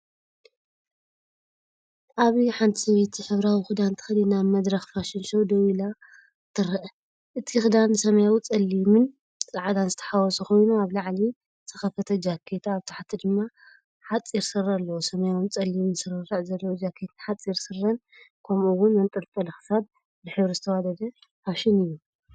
ኣብዚ ሓንቲ ሰበይቲ ሕብራዊ ክዳን ተኸዲና ኣብ መድረክ ፋሽን ደው ኢላ ትረአ። እቲ ክዳን ሰማያዊ፡ጸሊምን ጻዕዳን ዝተሓዋወሰ ኮይኑ፡ኣብ ላዕሊ ዝተከፈተ ጃኬት፡ኣብ ታሕቲ ድማ ሓጺርስረ ኣለዎ። ሰማያውን ጸሊምን ስርርዕ ዘለዎ ጃኬትን ሓጺር ስረን፡ከምኡ'ውን መንጠልጠሊ ክሳድ። ብሕብሪ ዝተዋደደ ፋሽን እዩ።